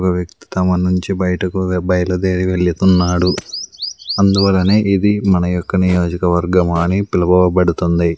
ఒక వ్యక్తి నుంచి బయటికి బయలుదేరి వెళుతున్నాడు అందువల్లనే ఇది మన యొక్క నియోజక వర్గం అని పిలవబడుతుంది.